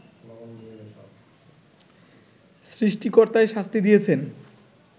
সৃষ্টিকর্তাই শাস্তি দিয়েছেন